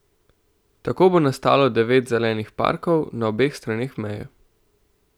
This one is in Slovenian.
Tako bo nastalo devet zelenih parkov na obeh straneh meje.